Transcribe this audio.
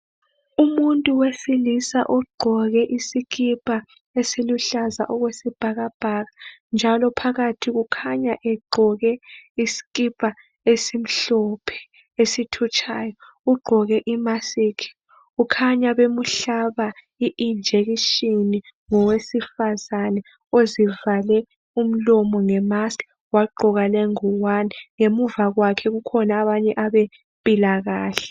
Umuntu wesilisa ugqoke isikipa esiluhlaza okwesibhakabhaka njalo phakathi ukhanya egqoke isikipa esimhlophe esithutshayo. Ugqoke imasikhi, ukhanya bemuhlaba i- injection ngowesifazana ozivale umlomo ngemask, wagqoka lengowane. Ngemuva kwakhe kukhona abanye abempilakahle.